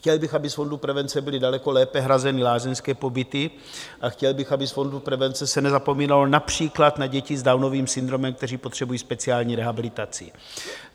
Chtěl bych, aby z fondu prevence byly daleko lépe hrazeny lázeňské pobyty, a chtěl bych, aby z fondu prevence se nezapomínalo například na děti s Downovým syndromem, které potřebují speciální rehabilitaci.